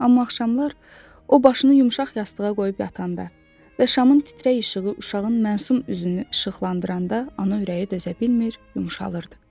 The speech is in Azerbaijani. Amma axşamlar o başını yumşaq yastığa qoyub yatanda və şamın titrək işığı uşağın məsum üzünü işıqlandıranda ana ürəyi dözə bilmir, yumşalırdı.